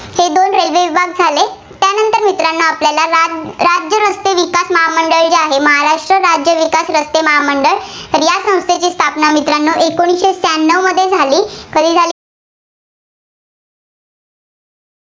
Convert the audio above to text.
आपल्याला राज्य रस्ते विकास महामंडळ जे आहे, महाराष्ट्र राज्य विकास रस्ते महामंडळ, तर या संस्थेची स्थापना मित्रांनो एकोणीसशे शहाण्णव मध्ये झाली. कधी झाली?